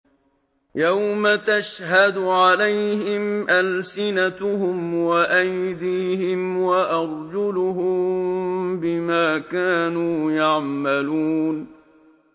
يَوْمَ تَشْهَدُ عَلَيْهِمْ أَلْسِنَتُهُمْ وَأَيْدِيهِمْ وَأَرْجُلُهُم بِمَا كَانُوا يَعْمَلُونَ